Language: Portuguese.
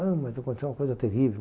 Ah, mas aconteceu uma coisa terrível.